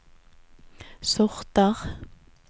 sorter